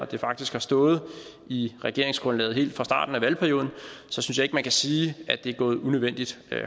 det faktisk har stået i regeringsgrundlaget helt fra starten af valgperioden man kan sige at det er gået unødvendig